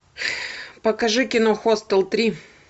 покажи кино хостел три